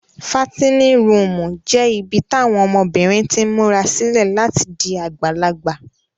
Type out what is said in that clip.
Fatinin ruumu jẹ ibi tawọn ọmọbirin tin mura sile lati di agbalagba.